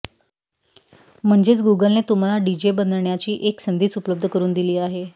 म्हणजेच गूगलने तुम्हाला डीजे बनण्याची एक संधीच उपलब्ध करुन दिली आहे